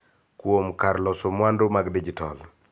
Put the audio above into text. Kuom kar loso mwandu mag dijitol.